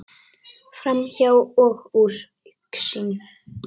Framhjá og úr augsýn.